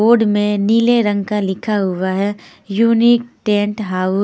board में नीले रंग का लिखा हुआ है यूनीक टेंट हाऊस --